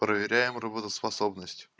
проверяем работоспособность